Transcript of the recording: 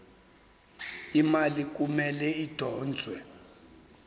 imali kumele idonswe